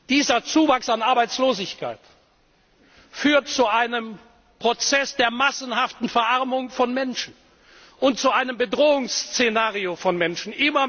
Dieser Zuwachs an Arbeitslosigkeit führt zu einem Prozess der massenhaften Verarmung von Menschen und zu einem Bedrohungsszenario für die Menschen.